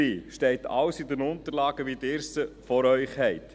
Dies steht alles in den Unterlagen, die Ihnen vorliegen.